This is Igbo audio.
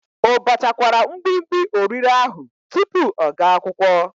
O bachakwara mgbimgbi orire ahu tupu ọ ga akwụkwọ?